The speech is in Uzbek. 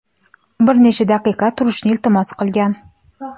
bir necha daqiqa turishni iltimos qilgan.